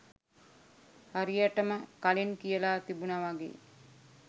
හරියටම කලින් කියල තිබුන වගේ